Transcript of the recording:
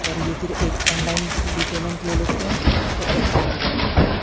और ये फिर एक ऑनलाइन भी पेमेंट ले लेते है ओर ऑफलाइन भी पेमेंट ले ले--